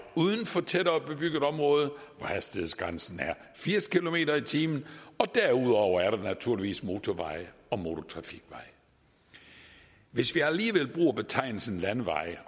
uden for tættere bebygget område hvor hastighedsgrænsen er firs kilometer per time og derudover er der naturligvis motorveje og motortrafikveje hvis vi alligevel bruger betegnelsen landeveje